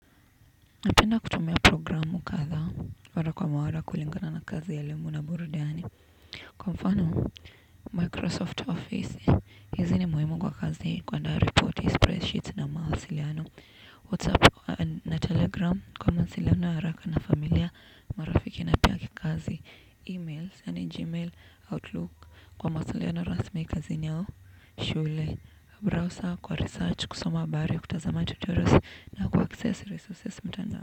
Napenda kutumia programu kadhaa mara kwa mara kulingana na kazi ya elimu na burudiani. Kwa mfano Microsoft Office, hizi ni muhimu kwa kazi kuandaa ripoti, spread sheets na mahasiliano, whatsapp na telegram, kwa mawasiliano ya haraka na familia, marafiki na pia kikazi. E-mails, gmail, outlook, kwa mawasiliano rasmi kazini aushule, browser, kwa research, kusoma habari, kutazamani tutorials na kuaccess resources mtandao.